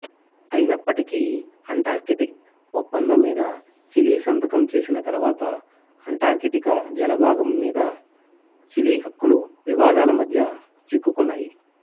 అయినప్పటికీ అటార్కిటిక్ ఒప్పందం మీద చిలీ సంతకం చేసిన తరువాత అంటార్కిటిక జలభాగం మీద చిలీ హక్కులు వివాదాలమద్య చిక్కుకున్నాయి